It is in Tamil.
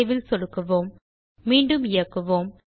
சேவ் ஐ சொடுக்குவோம் மீண்டும் இயக்குவோம்